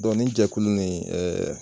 nin jɛkulu ni